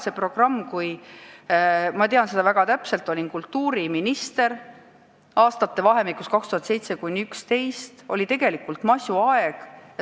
See programm on loodud – ma tean seda väga täpselt, ma olin siis kultuuriminister –perioodil 2007–2011, kui tegelikult oli masuaeg.